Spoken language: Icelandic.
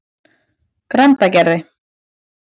Grandagarði